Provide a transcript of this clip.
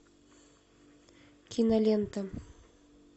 кинолента